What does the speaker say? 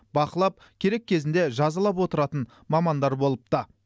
бақылап керек кезінде жазалап отыратын мамандар болыпты